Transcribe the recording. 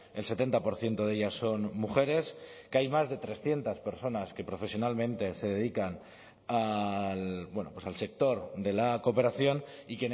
el setenta por ciento de ellas son mujeres que hay más de trescientos personas que profesionalmente se dedican al sector de la cooperación y